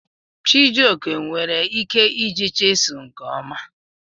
Chijioke nwere ike iji chiselụ nke ọma.